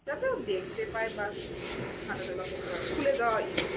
যাতে ও দেখতে পায় বা হাঁটাচলা করতে পারবে, খুলে দেওয়া ই।